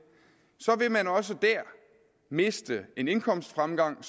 vil man også dér miste en indkomstfremgang